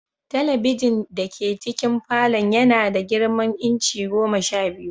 Talabijin dake cikin falon yana da girman inci goma sha biyu.